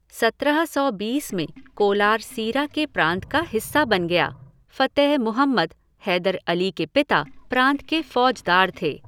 सत्रह सौ बीस में कोलार सीरा के प्रांत का हिस्सा बन गया, फ़तेह मुहम्मद, हैदर अली के पिता, प्रांत के फ़ौजदार थे।